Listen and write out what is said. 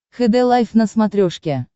хд лайф на смотрешке